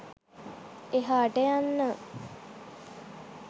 එහාට යන්න.